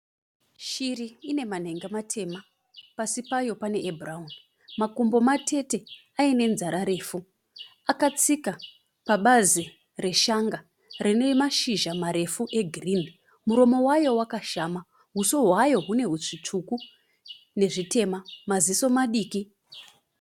Shiri ine manhenga matema. Pasi payo pane ebhurauni. Makumbo matete aine nzara refu. Akatsika pabazi reshanga rine mashizha marefu egirini. Muromo wayo wakashama. Uso hwayo hune zvitsvuku nezvitema, maziso madiki.